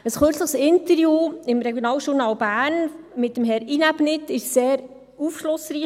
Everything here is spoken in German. Ein kürzliches Interview im «Regionaljournal Bern» mit Herrn Inäbnit war sehr aufschlussreich.